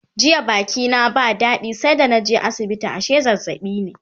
jiya Baki na ba dadi sai da naje asibiti ashe zazzaɓi ne